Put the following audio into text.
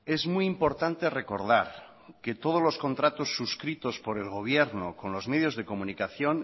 es muy importante recordar que todos los contratos suscritos por el gobierno con los medios de comunicación